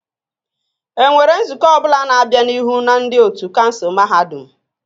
Enwere nzukọ ọ bụla na-abịa n'ihu na ndị otu kansụl mahadum?